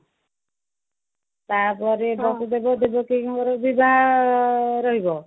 ତା ପରେ ବାକିତକ ମୋର ବି ଯାହା ରହିବ